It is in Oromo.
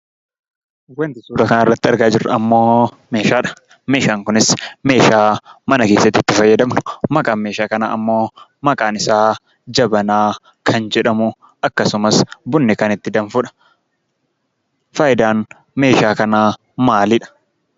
Wanti suuraa kanarratti argaa jirrummoo meeshaadha. Meeshaan kunis meeshaa mana keessatti itti fayyadamnu maqaan meeshaa kanaammoo maqaan isaa jabanaa kan jedhamu, akkasumas bunni kan itti danfudha. Faayidaan meeshaa kanaa maalidha?